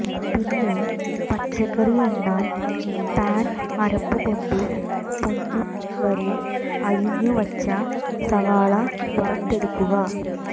പിന്നെ പച്ചക്കറി എണ്ണ പാൻ അരപ്പുകൊണ്ടു പൊന്നും വരെ അരിഞ്ഞുവച്ച സവാള വറുത്തെടുക്കുക